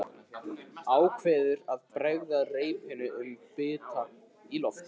Ákveður að bregða reipinu um bita í loftinu.